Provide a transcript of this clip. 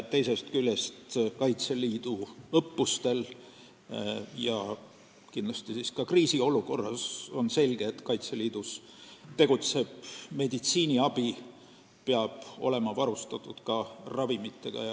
Teisest küljest on selge, et Kaitseliit peab õppustel ja kindlasti ka kriisiolukorras meditsiiniabi andmiseks olema varustatud ravimitega.